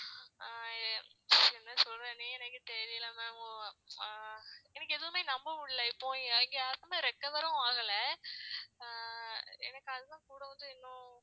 ஆஹ் என்ன சொல்றதுன்னே எனக்கு தெரியல ma'am ஹம் எனக்கு எதுவுமே நம்ப முடியல இப்போ யாருக்குமே recover ரும் ஆகல. அஹ் எனக்கு அதுதான் கூட வந்து இன்னும்